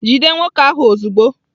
Jide nwoke ahụ ozugbo!